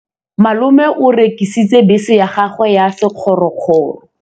Malome o rekisitse bese ya gagwe ya sekgorokgoro.